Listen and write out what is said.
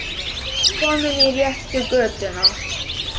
Ég var kominn í réttu götuna.